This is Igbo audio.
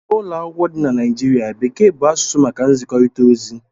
N'ụlọ akwụkwọ dị na Nigeria, Bekee bụ asụsụ maka nzikọrịta ozi